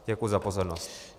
Děkuji za pozornost.